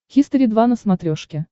хистори два на смотрешке